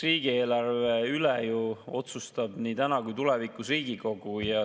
Riigieelarve üle otsustab nii täna kui ka tulevikus Riigikogu.